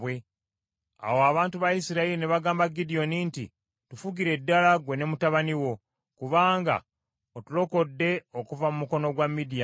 Awo abantu ba Isirayiri ne bagamba Gidyoni nti, “Tufugire ddala ggwe ne mutabani wo, kubanga otulokodde okuva mu mukono gwa Midiyaani.”